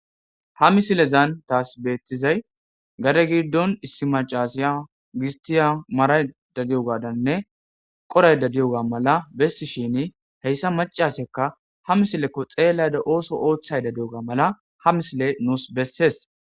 Ha misilezan taas beettizay gade giddon issi macasiya gistiya maray dadiyogaadanne qoray dadiyoga mala bessishini heyssa macasekka ha misilekko xeellada ooso ooththay dadiy7oga mala ha misile nuus bessees.